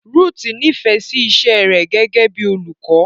Ruth nífẹ̀ẹ́ iṣẹ́ rẹ̀ gẹ́gẹ́ bíi olùkọ́.